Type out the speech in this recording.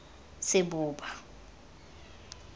seboba